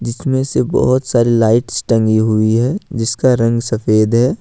जीसमें से बहुत सारी लाइट्स टंगी हुई है जिसका रंग सफेद है।